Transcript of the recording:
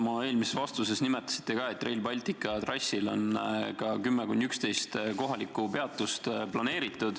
Oma eelmises vastuses mainisite te, et Rail Baltica trassile on planeeritud ka 10–11 kohalikku peatust.